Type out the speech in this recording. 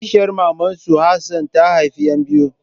Kishiyar maman su Hassan ta haifa ƴan biyu.